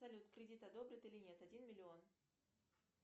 салют кредит одобрят или нет один миллион